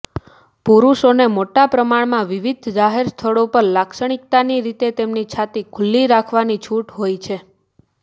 પુરૂષોને મોટાપ્રમાણમાં વિવિધ જાહેર સ્થળો પર લાક્ષણિકતાની રીતે તેમની છાતી ખુલ્લી રાખવાની છૂટ હોય છે